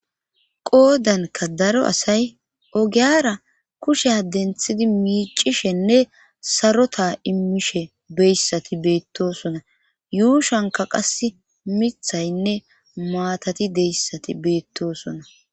qoodanka daro asay ogiyara kushea denthidi miicishenne sarota immishe beyssati beettosona yuushanka qas mithaynne maatati deyssati beettosona